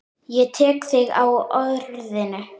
Ég tek þig á orðinu!